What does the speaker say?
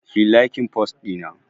Kiyi laikin fost ɗina